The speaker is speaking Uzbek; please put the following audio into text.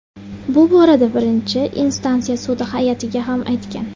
Bu borada birinchi instansiya sudi hay’atiga ham aytgan.